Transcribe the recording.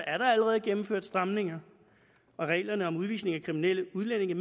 allerede gennemført stramninger i reglerne om udvisning af kriminelle udlændinge